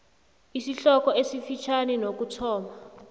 isihloko esifitjhani nokuthoma